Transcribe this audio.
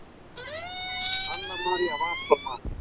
Anna María var svo margt.